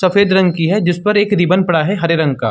सफेद रंग की है जिसपे एक रिबन पड़ा है हरे रंग का।